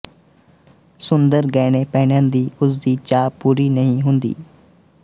ਸੁੰਦਰ ਗਹਿਣੇ ਪਹਿਨਣ ਦੀ ਉਸਦੀ ਚਾਅ ਪੂਰੀ ਨਹੀਂ ਹੁੰਦੀ